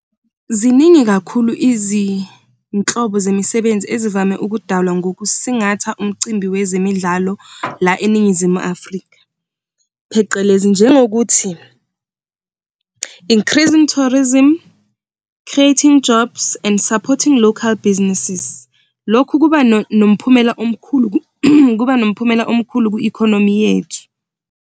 Ziningi kakhulu izinhlobo zemisebenzi ezivame ukudalwa ngokusingathi umcimbi wezemidlalo la eNingizimu Afrika, phecelezi njengokuthi increasing tourism, creating jobs and supporting local businesses. Lokhu kuba nomphumela omkhulu kuba nomphumela omkhulu kwi-economy yethu.